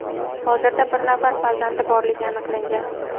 hozirda bir nafar farzandi borligi aniqlangan.